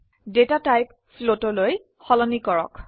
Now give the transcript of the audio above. data টাইপক floatলৈ সলনি কৰক